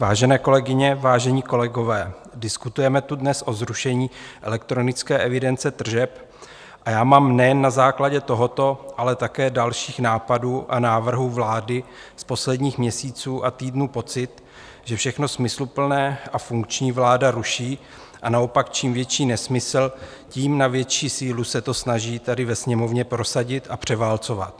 Vážené kolegyně, vážení kolegové, diskutujeme tu dnes o zrušení elektronické evidence tržeb a já mám nejen na základě tohoto, ale také dalších nápadů a návrhů vlády z posledních měsíců a týdnů pocit, že všechno smysluplné a funkční vláda ruší a naopak čím větší nesmysl, tím na větší sílu se to snaží tady ve Sněmovně prosadit a převálcovat.